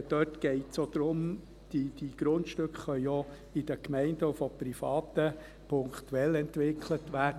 Dort geht es auch darum: Diese Grundstücke können auch in den Gemeinden und von Privaten punktuell entwickelt werden.